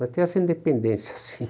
Mas tem essa independência, assim.